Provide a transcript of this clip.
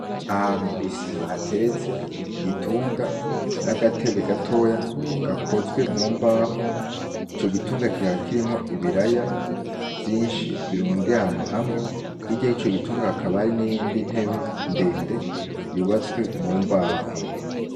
Ahantu kwisima hateretse igitunga n'agatebe gatoya gakozwe mu mbaho ico gitunga kihakirimwo ibiraya vyinshi birundi ahantu hamwe hiryahe ico gitunga akabari n'iyindi ntebe ndende yubatswe mu mbaho.